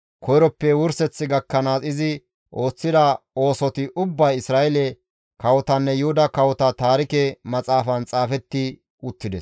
koyroppe wurseth gakkanaas izi ooththida oosoti ubbay Isra7eele kawotanne Yuhuda Kawota Taarike Maxaafan xaafetti uttides.